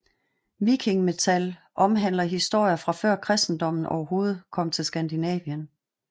Viking metal omhandler historier fra før kristendommen overhovedet kom til Skandinavien